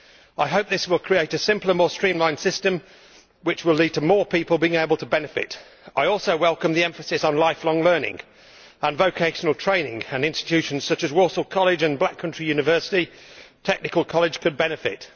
I hope this will create a simpler, more streamlined system, from which more people will be able to benefit. I also welcome the emphasis on lifelong learning and vocational training, from which institutions such as Walsall College and Black Country University Technical College could benefit.